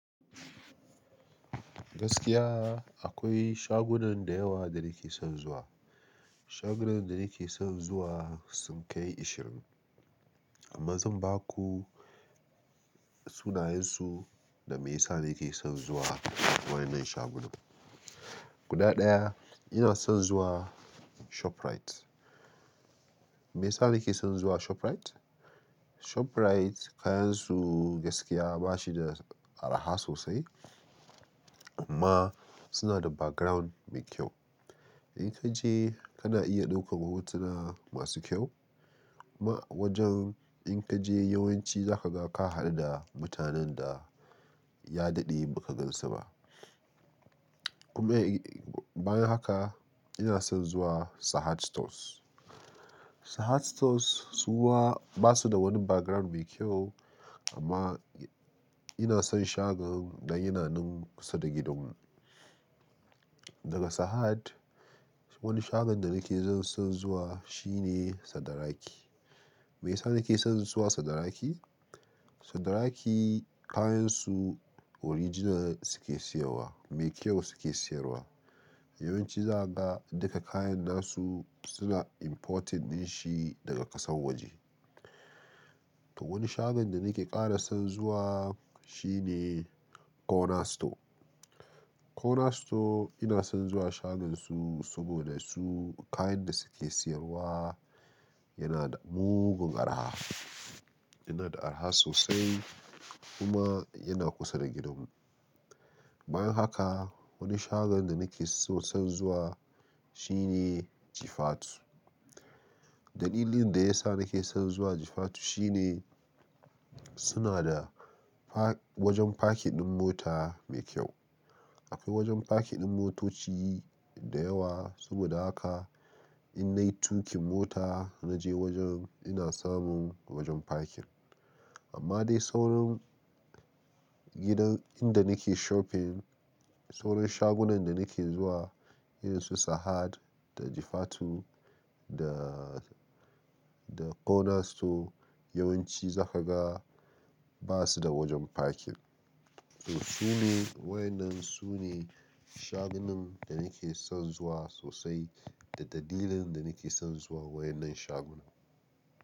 Gaskiya akwai shagunan da yawa da nake son zuwa. Shagunan da nake son zuwa sun kai ashirin, amma zan baku sunayensu da me yasa nake son zuwa wannan shagunan. Guda ɗaya ina son zuwa ShopRite. Me yasa nake son zuwa ShopRite? ShopRite kayansu gaskiya ba shi da araha sosai amma suna da background mai kyau. In ka je kana iya ɗaukar hotuna masu kyau, kuma wajen in ka je yawanci zaka ga ka haɗu da mutanen da ya daɗe baka gansu ba. Kuma bayan haka ina son zuwa Sahad Stores. Sahad Stores su ma ba su da wani background mai kyau amma ina son shagon dan yana nan kusa da gidanmu. Daga Sahad wani shagon da nake son zuwa shine Sadaraki. Me yasa nake son zuwa Sadaraki? Sadaraki kayansu original suke siyarwa, mai kyau suke siyarwa. Yawanci zaka ga duka kayan nasu suna importing ɗin shi daga ƙasar waje. To wani shagon da nake ƙara son zuwa shi ne Corner Store. Corner Store ina son zuwa shagonsu saboda su kayan da suke sayarwa yana da mugun araha. Yana da araha sosai kuma yana kusa da gidanmu. Bayan haka wani shagon da nake son zuwa shine Jifatu. Dalilin da yasa nake son zuwa Jifatu shine suna da pa-- wajen parking ɗin mota mai kyau. Akwai wajan parking ɗin motoci da yawa saboda haka in nayi tuƙin mota na je wajen ina samun wajen parking. Amma dai sauran gidan inda nake shopping, sauran shagunan da nake zuwa irin su Sahad da Jifatu da, da Corner Store yawanci zaka ga ba su da wajen parking. To sune, waƴannan sune shagunan da nake son zuwa sosai da dalilin da nake son zuwa waƴannan shagunan.